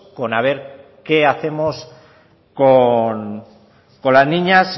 con a ver qué hacemos con las niñas